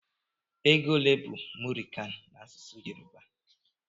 Égo olé bu mụri kan na-asụsụ Yoruba?